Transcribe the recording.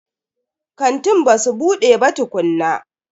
Kantin basu bude ba tukunna.